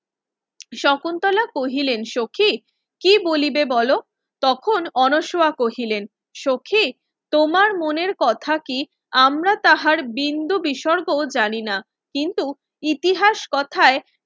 শকুন্তলা কহিলেন সখি কি বলিবে বলো তখন অন্বশোহা কহিলেন সখি তোমার মনের কথা কি আমরা তাহার বিন্দু বিসর্গ জানিনা কিন্তু ইতিহাস কোথায়